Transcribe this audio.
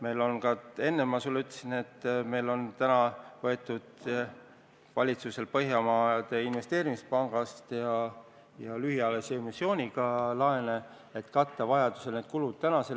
Enne ma ütlesin sulle, et valitsusel on täna võetud Põhjamaade Investeerimispangast laenu ja lühiajalise emissiooniga laene, et vajaduse korral need kulud katta.